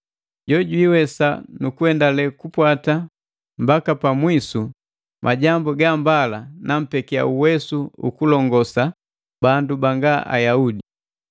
Jo jwiiwesa nu kuendale kupwata mbaka pa mwisu majambu ga mbala, nampekia uwesu ukulongosa bandu banga Ayaudi: